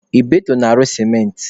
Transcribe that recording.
Ibeto na-arụ sementị.